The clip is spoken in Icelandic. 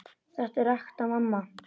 Þetta er ekta mamma!